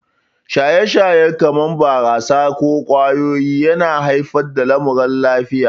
Shaye-shaye, kamar barasa ko shan ƙwayoyi, yana haifar da lamuran lafiya.